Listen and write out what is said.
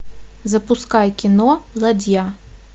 запускай кино ладья